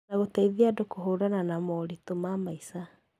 Na gũteithia andũ kũhũrana na moritũ ma maica.